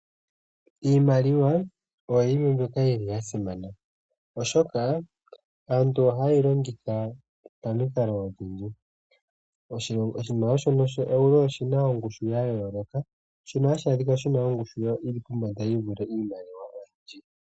Iimaliwa oyo yimwe mbyoka yili ya simana, oshoka aantu ohayeyi longitha pamikalo odhindji. Oshimaliwa shono sho Euro oshina ongushu ya yooloka shono hashi adhika shina ongushu yili pombanda yivule iimaliwa oyindji